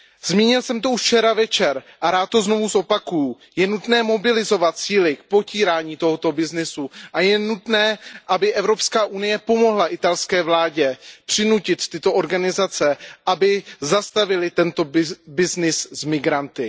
Zmínil jsem to už včera večer a rád to znovu zopakuji, je nutné mobilizovat síly k potírání tohoto byznysu a je nutné, aby Evropská unie pomohla italské vládě přinutit tyto organizace, aby zastavily tento byznys s migranty.